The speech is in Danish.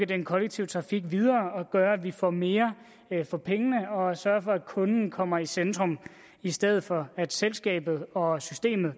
den kollektive trafik videre og gøre at vi får mere for pengene og sørge for at kunden kommer i centrum i stedet for at selskabet og systemet